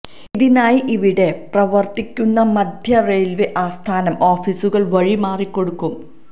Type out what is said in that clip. ഇതിനായി ഇവിടെ പ്രവര്ത്തിക്കുന്ന മധ്യ റെയില്വേ ആസ്ഥാന ഓഫീസുകള് വഴി മാറിക്കൊടുക്കും